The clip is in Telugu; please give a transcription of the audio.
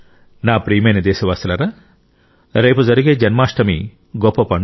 నా ప్రియమైన దేశవాసులారా రేపు జరిగే జన్మాష్టమి గొప్ప పండుగ